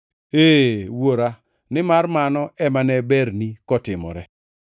Ee Wuora, nimar mano ema ne berni kotimore.